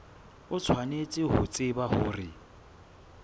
o tshwanetse ho tseba hore